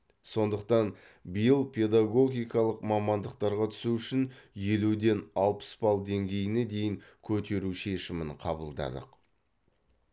сондықтан биыл педагогикалық мамандықтарға түсу үшін елуден алпыс балл деңгейіне дейін көтеру шешімін қабылдадық